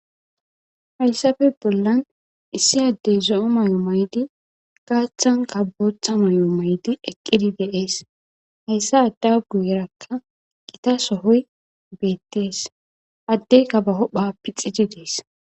Haysappe bollan issi addey zo'o mayo mayidi ba achanka bootha mayo mayidi de'es. Haysa adda guyeraka gita sohoy beetes. Addeyka ba huphappe caca dhayides.